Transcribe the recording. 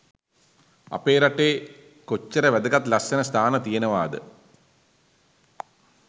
අපේ රටේ කොච්චර වැදගත් ලස්සන ස්ථාන තියෙනවාද?